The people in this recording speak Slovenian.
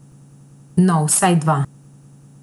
No, vsaj dva.